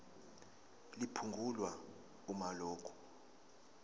liphungulwe uma lokhu